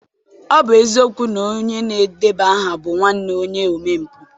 Ọ bụ eziokwu na onye na-edeba aha bụ nwanne onye omempụ